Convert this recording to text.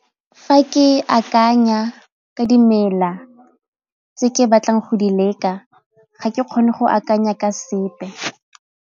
Fa ke akanya ka dimela tse ke batlang go di leka ga ke kgone go akanya ka sepe.